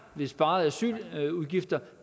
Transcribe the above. sparede asyludgifter